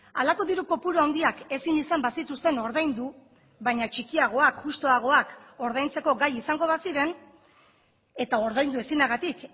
halako diru kopuru handiak ezin izan bazituzten ordaindu baina txikiagoak justuagoak ordaintzeko gai izango baziren eta ordaindu ezinagatik